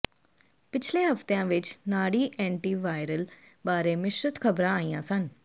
ਪਿਛਲੇ ਹਫਤਿਆਂ ਵਿੱਚ ਨਾੜੀ ਐਂਟੀਵਾਇਰਲ ਬਾਰੇ ਮਿਸ਼ਰਤ ਖਬਰਾਂ ਆਈਆਂ ਸਨ